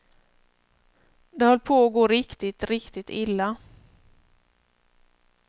Det höll på att gå riktigt, riktigt illa.